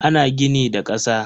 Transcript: Ana gini da kasa.